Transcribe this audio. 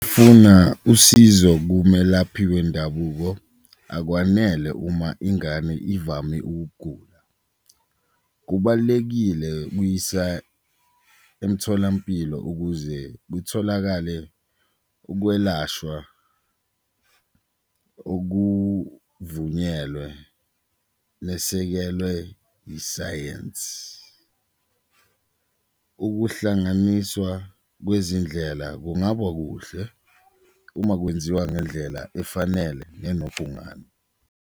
Funa usizo kumelaphi wendabuko akwanele uma ingane ivame ukugula, kubalulekile ukuyisa emtholampilo ukuze kutholakale ukwelashwa okuvunyelwe besekelwe isayenzi, ukuhlanganiswa kwezindlela kungaba kuhle uma kwenziwa ngendlela efanele nenobhungane.